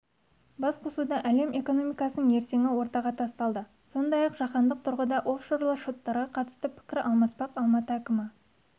басқосуда әлем экономикасының ертеңі ортаға тасталды сондай-ақ жаһандық тұрғыда офшорлы шоттарға қатысты пікір алмаспақ алматы әкімі